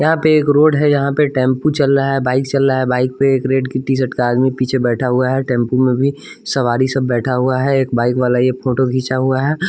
यहाँ पे एक रोड है यहाँ पे टेंपू चल रहा है बाइक चल रहा है बाइक पे एक रेड की टीशर्ट का आदमी पीछे बैठा हुआ है टेंपू में भी सवारी सब बैठा हुआ है एक बाइक वाला ये फोटो खींचा हुआ है।